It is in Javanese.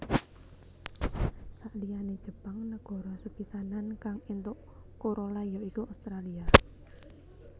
Saliyane Jepang negara sepisanan kang éntuk Corolla ya iku Australia